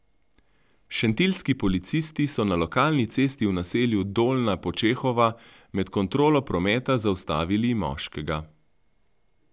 Šentiljski policisti so na lokalni cesti v naselju Dolnja Počehova med kontrolo prometa zaustavili moškega.